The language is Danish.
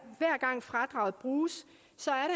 gang fradraget bruges